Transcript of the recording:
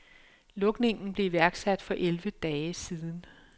Lukningen blev iværksat for elleve dage siden.